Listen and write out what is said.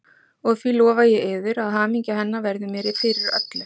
Og því lofa ég yður, að hamingja hennar verður mér fyrir öllu.